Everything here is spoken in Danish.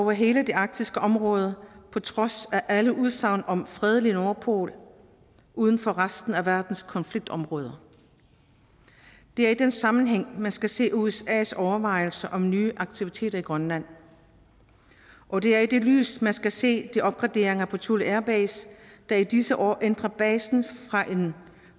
hele det arktiske område på trods af alle udsagn om en fredelig nordpol uden for resten af verdens konfliktområder det er i den sammenhæng man skal se usas overvejelser om nye aktiviteter i grønland og det er i det lys man skal se de opgraderinger på thule airbase der i disse år ændrer basen